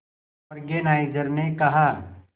organiser ने कहा